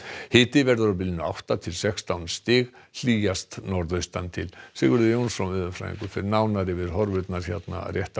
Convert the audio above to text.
hiti verður á bilinu átta til sextán stig hlýjast norðaustan til Sigurður Jónsson veðurfræðingur fer nánar yfir horfurnar hér rétt á